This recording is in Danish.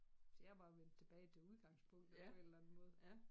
Så jeg er bare vendt tilbage til udgangspunktet på en eller anden måde